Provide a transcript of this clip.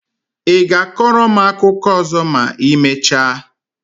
I ga-akọrọ m akụkọ ọzọ ma I mechaa?